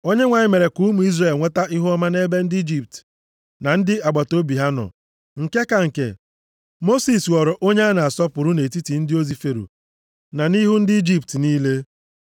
Onyenwe anyị mere ka ụmụ Izrel nweta ihuọma nʼebe ndị Ijipt, na ndị agbataobi ha nọ. Nke ka nke, Mosis ghọrọ onye a na-asọpụrụ nʼetiti ndị ozi Fero na nʼihu ndị Ijipt niile.